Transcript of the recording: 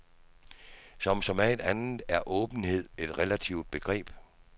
Som så meget andet er åbenhed et relativt begreb.